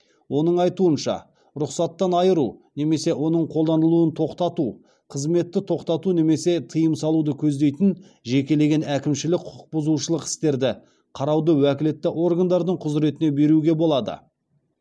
оның айтуынша рұқсаттан айыру немесе оның қолданылуын тоқтату қызметті тоқтату немесе тыйым салуды көздейтін жекелеген әкімшілік құқық бұзушылық істерді қарауды уәкілетті органдардың құзыретіне беруге болады